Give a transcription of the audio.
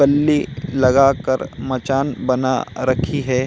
डंडी लगा कर मचान बना रखी है।